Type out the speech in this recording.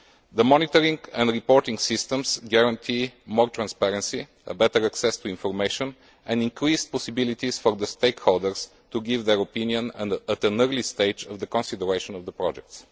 The monitoring and reporting systems guarantee more transparency, better access to information and increased possibilities for the stakeholders to give their opinion at an early stage of the consideration of the projects.